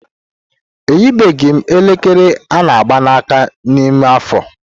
Eyibeghị m elekere ana ágbà na aka n'ime afọ.